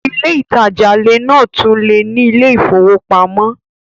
Ilé ìtajà lè náà tún lè ní ilé ìfowópamọ́